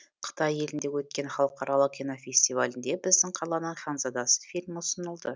қытай елінде өткен халықаралық кинофестивальде біздің қаланың ханзадасы фильмі ұсынылды